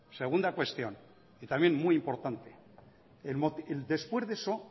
segunda cuestión y también muy importante después de eso